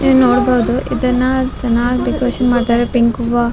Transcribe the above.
ನೀವ್ ನೋಡ್ಬೋದು ಇದನ್ನಾ ಚೆನ್ನಾಗ್ ಡೆಕೋರೇಷನ್ ಮಾಡಿದ್ದಾರೆ ಪಿಂಕ್ ಹೂವ.